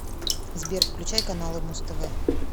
сбер включай каналы муз тв